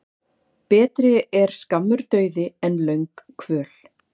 Betri er skammur dauði en löng kvöl.